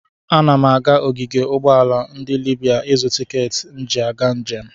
Ana m aga ogige ụgbọala ndị Libra ịzụ tikeeti m ji aga njem.